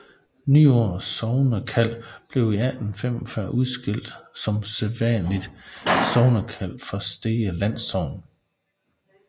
Nyord sognekald blev i 1845 udskilt som selvstændigt sognekald fra Stege landsogn